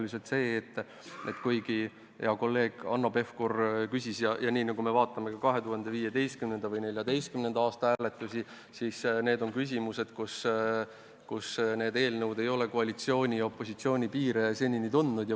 Vaadates 2015. või 2014. aasta hääletusi, siis tegemist on küsimustega, milles eelnõud ei ole koalitsiooni ja opositsiooni piire tundnud.